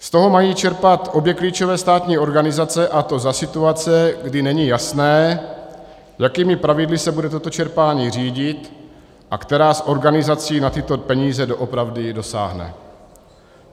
Z toho mají čerpat obě klíčové státní organizace, a to za situace, kdy není jasné, jakými pravidly se bude toto čerpání řídit a která z organizací na tyto peníze doopravdy dosáhne.